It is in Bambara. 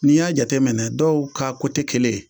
Ni y'a jateminɛ dɔw k'a kelen